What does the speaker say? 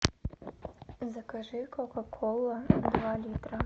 закажи кока кола два литра